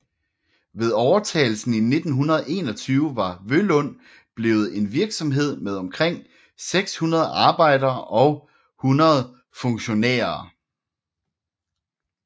Ved overtagelsen i 1921 var Vølund blevet en virksomhed med omkring 600 arbejdere og 100 funktionærer